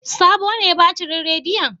Sabo ne batirin rediyon?